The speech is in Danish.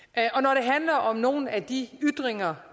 og om nogle af de ytringer